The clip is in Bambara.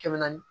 Kɛmɛ naani